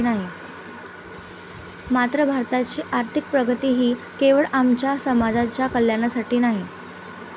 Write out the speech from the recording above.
मात्र भारताची आर्थिक प्रगती ही केवळ आमच्या समाजाच्या कल्याणासाठी नाही.